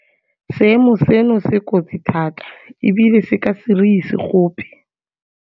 Seemo seno se kotsi thata ebile se ka se re ise gope.